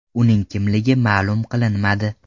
Uning kimligi ma’lum qilinmadi.